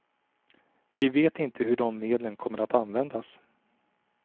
Vi vet inte hur de medlen kommer att användas.